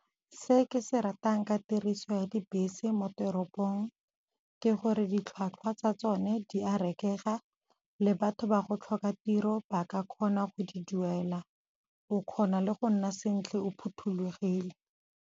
Se ke se ratang ka tiriso ya dibese mo teropong ke gore ditlhwatlhwa tsa tsone di a rekega le batho ba go tlhoka tiro ba ka kgona go di duela, o kgona le go nna sentle o phothulogile.